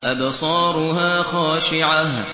أَبْصَارُهَا خَاشِعَةٌ